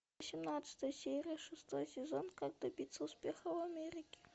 семнадцатая серия шестой сезон как добиться успеха в америке